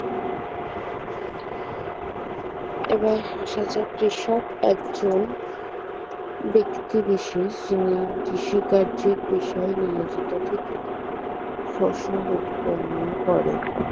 এবার আসা যাক কৃষক একজন ব্যক্তি বিশেষ যিনি কৃষি কার্যের পেশায় নিয়োজিত থেকে ফসল উৎপন্ন করেন